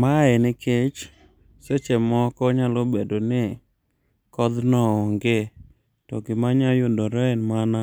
Mae nikech seche moko nyalo bedo ni kodhno onge to manyalo yudore en mana